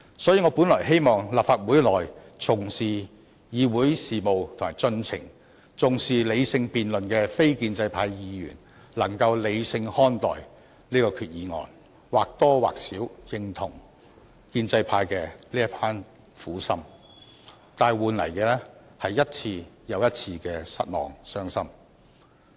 所以，我本來希望立法會內重視議會事務及程序、重視理性辯論的非建制派議員能夠理性看待本決議案，能或多或少認同建制派的這一片苦心，但換來的是一次又一次的失望和傷心。